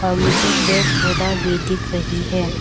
मुझे पेड़ पौधा भी दिख रही है।